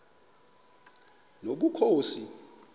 nobukhosi